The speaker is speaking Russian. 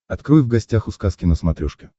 открой в гостях у сказки на смотрешке